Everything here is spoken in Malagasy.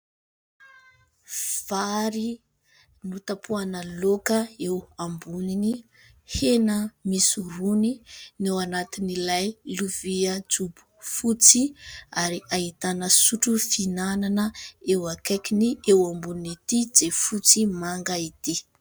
Vary notapohana laoka eo ambonin'ny hena misy rony ny eo anatin'ilay lovia jobo fotsy ary ahitana sotro fihinanana eo akaikiny eo ambonin'ity jiafotsy manga ity.